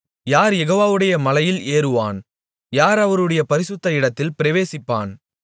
யார் யெகோவாவுடைய மலையில் ஏறுவான் யார் அவருடைய பரிசுத்த இடத்தில் பிரவேசிப்பான்